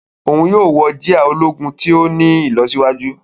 Òún yóò wọ jia ológun to ti ní ìlọsíwájú.